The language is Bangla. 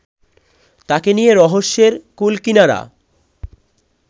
তাঁকে নিয়ে রহস্যের কুলকিনারা